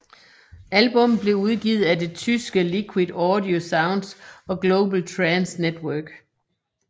Albummet blev udgivet af det tyske Liquid Audio Soundz og Global Trance Network